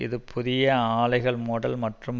இது புதிய ஆலைகள் மூடல் மற்றும்